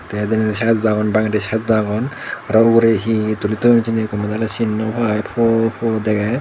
vdenedi sidot o agon bange sidot o agon araw uguredi hi hi tuli toyon hijeni gome dale sin naw pai puo puo degei.